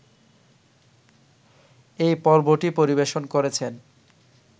এই পর্বটি পরিবেশন করেছেন